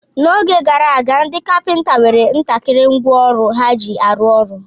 N'oge gara aga, ndị kapịnta nwere ntakịrị ngwa ọrụ ha ji arụ ọrụ.